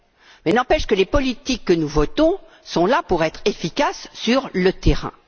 Mais il n'empêche que les politiques que nous votons sont là pour être efficaces sur le terrain.